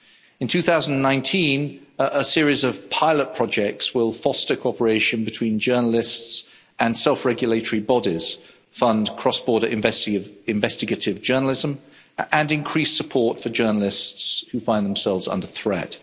In 2019 a series of pilot projects will foster cooperation between journalists and self regulatory bodies, fund cross border investigative journalism and increase support for journalists who find themselves under threat.